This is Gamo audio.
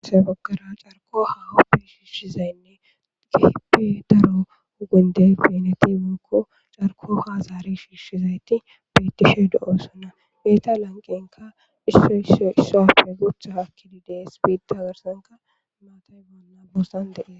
ase okara carko hahuppe shiishizaynne keheppe daro hugundey beneti mookko carko hazari shiishizayti betishe do7o sona hyeeta lanqenka ississo appe gutha hakkidi dees biida garsanka maatay bonna boossan deee